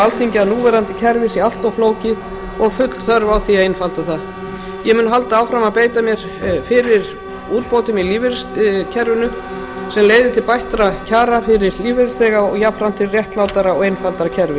alþingi að núverandi kerfi sé allt flókið og full þörf á því að einfalda það ég mun halda áfram að beita mér fyrir úrbótum í lífeyristryggingakerfinu sem leiði til bættra kjara fyrir lífeyrisþega og jafnframt til réttlátara og einfaldara kerfis